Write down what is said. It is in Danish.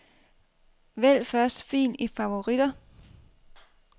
Vælg første fil i favoritter.